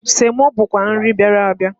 Semo bụkwa nri bịara abịa.